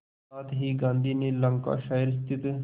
साथ ही गांधी ने लंकाशायर स्थित